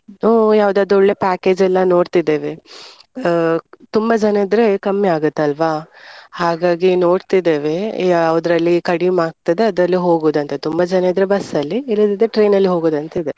ಇನ್ನೂ ಯಾವುದಾದ್ರೂ ಒಳ್ಳೆ package ಎಲ್ಲ ನೋಡ್ತಿದ್ದೇವೆ ಅಹ್ ತುಂಬಾ ಜನ ಇದ್ರೆ ಕಮ್ಮಿ ಆಗುತ್ತಲ್ವಾ ಹಾಗಾಗಿ ನೋಡ್ತತಿದೇವೇ ಯಾವುದ್ರಲ್ಲಿ ಕಡಿಮ್ ಆಗ್ತದೆ ಅದ್ರಲ್ಲಿ ಹೋಗುದು ಅಂತ ತುಂಬಾ ಜನ ಇದ್ರೆ bus ಅಲ್ಲಿ ಇಲ್ಲದಿದ್ರೆ train ಅಲ್ಲಿ ಹೋಗುದಂತಿದೆ.